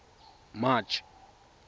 march